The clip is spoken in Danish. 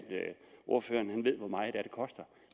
ordføreren ved hvor meget det er det koster